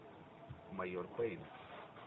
майор пейн